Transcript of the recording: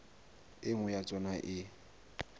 e nngwe ya tsona e